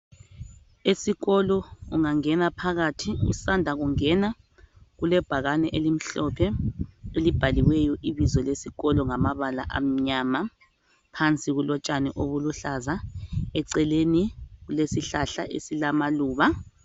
Esikolo ungangena phakathi usanda kungena kule bhakani elimhlophe elibhaliweyo ibizo lesikolo ngamabala amnyama. Phansi kulotshani obuluhlaza, eceleni kulesihlahla esilamaluba.